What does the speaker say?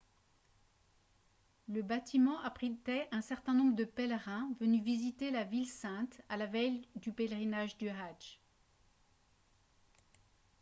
le bâtiment abritait un certain nombre de pèlerins venus visiter la ville sainte à la veille du pèlerinage du hadj